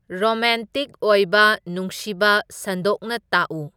romantic ꯑꯣꯏꯕ ꯅꯨꯡꯁꯤꯕ ꯁꯟꯗꯣꯛꯅ ꯇꯥꯛꯎ